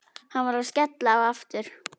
Hann var að skella á aftur.